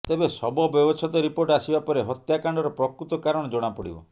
ତେବେ ଶବ ବ୍ୟବଛେଦ ରିପୋର୍ଟ ଆସିବା ପରେ ହତ୍ୟାକାଣ୍ଡର ପ୍ରକୃତ କାରଣ ଜଣାପଡ଼ିବ